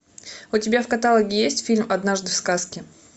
у тебя в каталоге есть фильм однажды в сказке